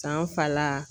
San fala